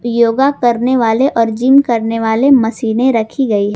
योगा करने वाले और जिम करने वाले मशीने रखी गई--